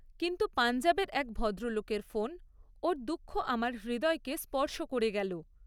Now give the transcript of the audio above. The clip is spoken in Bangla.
কিন্তু পাঞ্জাবের এক ভদ্রলোকের ফোন, ওর দুঃখ আমার হৃদয়কে স্পর্শ করে গেল।